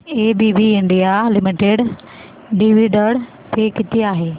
ABB India limited dividend pay किती आहे